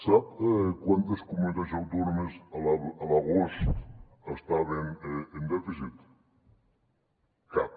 sap quantes comunitats autònomes a l’agost estaven en dèficit cap